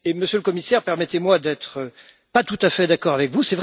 Monsieur le Commissaire, permettez moi de ne pas être tout à fait d'accord avec vous.